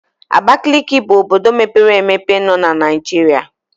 Abakaliki bụ obodo mepere emepe nọ na Naijiria.